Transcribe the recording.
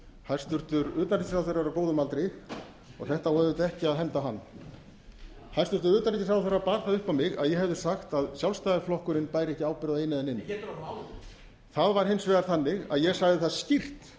hæstvirts utanríkisráðherra er á góðum aldri og þetta á auðvitað ekki að henda hann hæstvirts utanríkisráðherra bar það upp á mig að ég hefði sagt að sjálfstæðisflokkurinn bæri ekki ábyrgð á einu eða neinu það var hins vegar þannig að ég sagði það skýrt